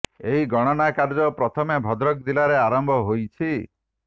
ଏହି ଗଣନା କାର୍ଯ୍ୟ ପ୍ରଥମେ ଭଦ୍ରକ ଜିଲାରେ ଆରମ୍ଭ ହୋଇଛି